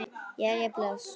Jæja, bless